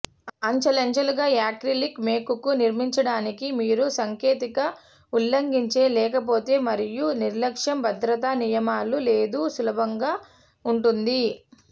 అంచెలంచెలుగా యాక్రిలిక్ మేకుకు నిర్మించడానికి మీరు సాంకేతిక ఉల్లంఘించే లేకపోతే మరియు నిర్లక్ష్యం భద్రతా నియమాలు లేదు సులభంగా ఉంటుంది